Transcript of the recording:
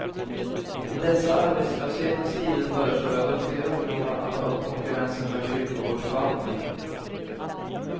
I dessa arbetslöshetens tider föreslår jag duktiga ungdomar att ta upp konkurrensen med kyrkogårdsförvaltningen.